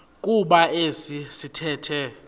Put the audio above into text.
kuba esi sithethe